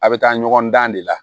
A bɛ taa ɲɔgɔn dan de la